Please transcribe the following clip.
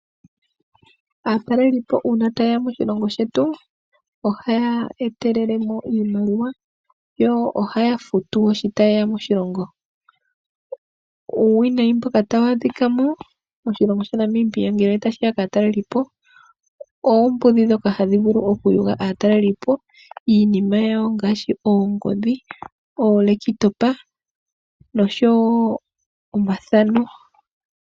Aatalelipo uuna ta yeya moshilongo shetu oha ya etelele mo iimaliwa yo ohaya futu woo shi tayeya moshilongo. Uuwinayi mboka ta wu adhikamo moshilongo shaNamibia ngele otashiya kaa talelipo, oombudhi ndhono hadhi vulu okuyuga aatelelipo iinima yawo ngaashi: oongodhi, omashina goku topatopa, nosho woo omathano.